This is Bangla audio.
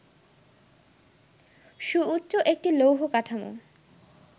সুউচ্চ একটি লৌহ কাঠামো